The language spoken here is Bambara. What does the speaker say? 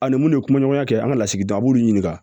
A ni mun de kun ɲɔgɔnya kɛ an ka lasigiden an b'olu ɲininka